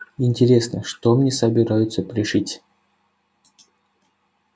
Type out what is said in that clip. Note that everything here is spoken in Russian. интересно что мне собираются пришить